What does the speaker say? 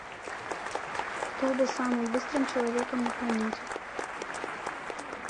кто был самым быстрым человеком на планете